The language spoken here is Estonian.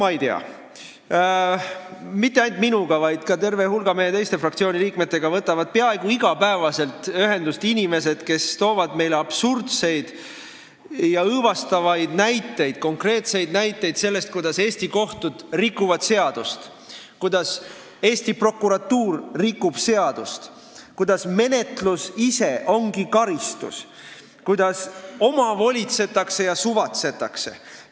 Ma ei tea – mitte ainult minuga, vaid ka terve hulga meie teiste fraktsioonide liikmetega võtavad peaaegu iga päev ühendust inimesed, kes toovad meile absurdseid ja õõvastavaid konkreetseid näiteid sellest, kuidas Eesti kohtud rikuvad seadust, kuidas Eesti prokuratuur rikub seadust, kuidas menetlus ise ongi karistus, kuidas omavolitsetakse ja suvatsetakse.